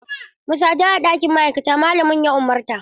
Mu sadu a ɗakin ma'aikata, malamin ya umarta.